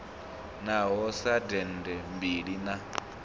ngaho sa dende mbila na